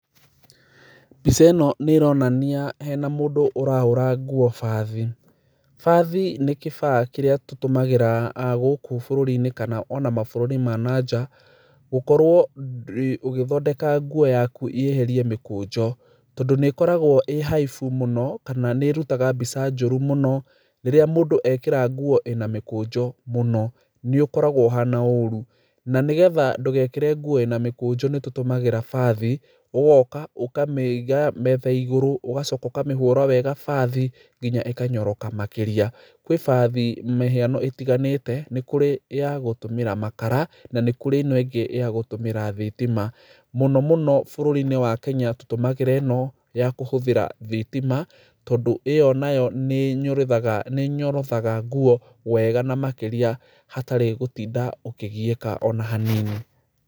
Mbica ĩno nĩ ĩronania hena mũndũ ũrahũra nguo bathi. Bathi nĩ kĩbaa kĩrĩa tũtũmagĩra gũkũ bũrũri-inĩ kana ona mabũrũri ma nanja, gũkorwo ũgĩthondeka nguo yaku yeherie mĩkũnjo, tondũ nĩ ĩkoragwo ĩ haibu mũno kana nĩ ĩrutaga mbica njũrũ mũno rĩrĩa mũndũ ekĩra nguo ĩna mĩkũnjo mũno, nĩũkoragwo ũhana ũũru. Na nĩgetha ndũgekĩre nguo ĩna mĩkũnjo nĩ tũtũmagĩra bathi, ũgoka ũkamĩiga metha igũrũ ũgacoka ũkamĩhũra wega bathi nginya ĩkanyoroka makĩria. Kwĩ bathi mĩhiano ĩtiganĩte, nĩ kũrĩ ya gũtũmĩra makara na nĩkũrĩ ĩno ĩngĩ ya gũtũmĩra thitima. Mũno mũno bũrũri-inĩ wa Kenya tũtũmagĩra ĩno ya kũhũthĩra thitima tondũ ĩyo nayo nĩnyorothaga, nĩĩnyorothaga nguo wega na makĩria hatarĩ gũtinda ũkĩgiĩka ona hanini.